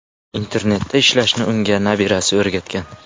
Internetda ishlashni unga nabirasi o‘rgatgan.